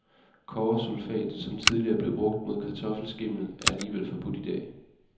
Kobbersulfat, som tidligere blev brugt mod kartoffelskimmel, er alligevel forbudt idag.